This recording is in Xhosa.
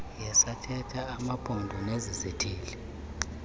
yesakhelo amaphondo nesizithili